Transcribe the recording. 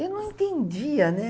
E não entendia, né?